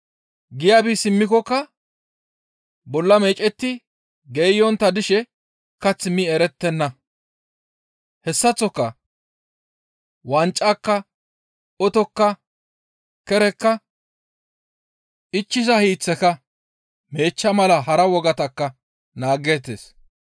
Giya bi simmikokka bolla meecetti geeyontta dishe kath mi erettenna. Hessaththoka wancaka, otokka, kerekka, ichchiza hiiththeka meechcha mala hara wogatakka naageettes.